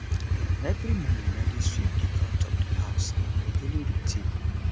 um every morning i dey sweep di front of di house na my daily routine